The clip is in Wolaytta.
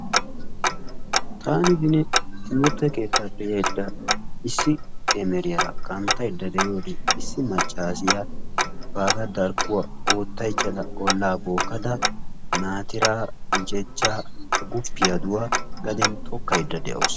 Taani beni timirtte keettaappe yayidda issi emeriyaara kanttaydda de'iyode issi maccassiya baagaa darkkuwa oottaychchada ollaa bookkada naattiraa, guccachchaa, agguppiyaduwa gadeen tokkayda de'awusu.